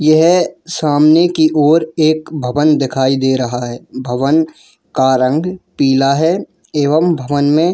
यहां सामने की ओर एक भवन दिखाई दे रहा है भवन का रंग पीला है एवम भवन मैं--